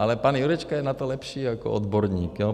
Ale pan Jurečka je na to lepší odborník.